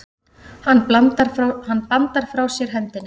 Hann bandar frá sér hendinni.